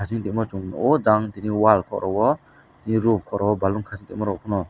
himtongmo chung nuko jang tini wall khoro o roof khoro balloon khaisi tongmarok phano.